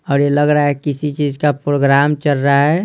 और ये लग रहा है किसी चीज का प्रोग्राम चल रहा है।